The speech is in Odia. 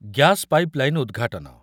ଗ୍ୟାସ୍‌ ପାଇପଲାଇନ ଉଦ୍‌ଘାଟନ